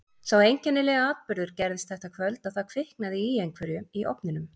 Sá einkennilegi atburður gerðist þetta kvöld að það kviknaði í einhverju í ofninum.